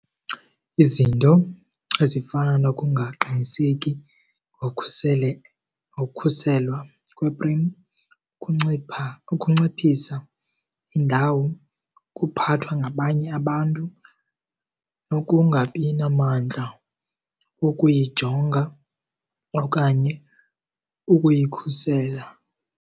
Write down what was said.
Izinto ezifana nokungaqiniseki ngokhuselwa kweprem kuncipha ukunciphisa indawo, ukuphathwa ngabanye abantu nokungabi namandla wokuyijonga okanye ukuyikhusela.